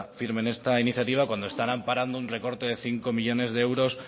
firmen esta iniciativa cuando están amparando un recorte de cinco millónes de euros